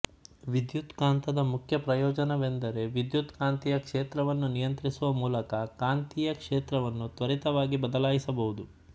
ವಿದ್ಯುತ್ಕಾಂತದ ಮುಖ್ಯ ಪ್ರಯೋಜನವೆಂದರೆ ವಿದ್ಯುತ್ಕಾಂತೀಯ ಕ್ಷೇತ್ರವನ್ನು ನಿಯಂತ್ರಿಸುವ ಮೂಲಕ ಕಾಂತೀಯ ಕ್ಷೇತ್ರವನ್ನು ತ್ವರಿತವಾಗಿ ಬದಲಾಯಿಸಬಹುದು